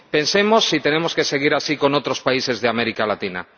Pensemos si tenemos que seguir así con otros países de América Latina.